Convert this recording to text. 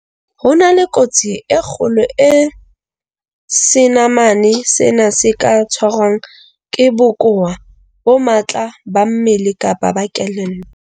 Ho na le kotsi e kgolo eo senamane sena se ka tshwarwang ke bokowa bo matla ba mmele kapa ba kelello.